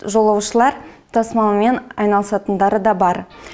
жолаушылар тасымалымен айналысатындары да бар